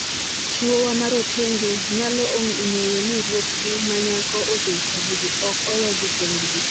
Chuowa ma rotenge nyalo ng'eyo ni ruothgi ma nyako ochung' kodgi - ok owegi kendgi.